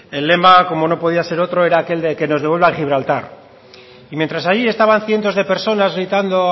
el lema como no podía ser otro era aquel de que nos devuelvan gibraltar y mientras ahí estaban cientos de personas gritando